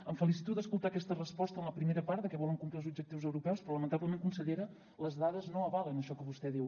em felicito d’escoltar aquesta resposta en la primera part que volen complir els objectius europeus però lamentablement consellera les dades no avalen això que vostè diu